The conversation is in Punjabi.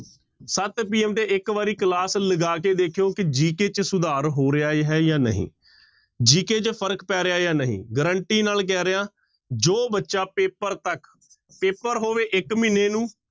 ਸੱਤ PM ਤੇ ਇੱਕ ਵਾਰੀ class ਲਗਾ ਕੇ ਦੇਖਿਓ ਕਿ GK ਚ ਸੁਧਾਰ ਹੋ ਰਿਹਾ ਹੈ ਜਾਂ ਨਹੀਂ GK ਚ ਫ਼ਰਕ ਪੈ ਰਿਹਾ ਜਾਂ ਨਹੀਂ guarantee ਨਾਲ ਕਹਿ ਰਿਹਾਂ, ਜੋ ਬੱਚਾ ਪੇਪਰ ਤੱਕ, ਪੇਪਰ ਹੋਵੇ ਇੱਕ ਮਹੀਨੇ ਨੂੰ